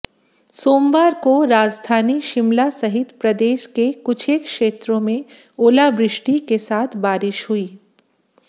सोमवार को राजधानी शिमला सहित प्रदेश के कुछेक क्षेत्रों में ओलावृष्टि के साथ बारिश हुई